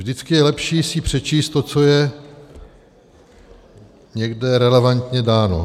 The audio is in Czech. Vždycky je lepší si přečíst to, co je někde relevantně dáno.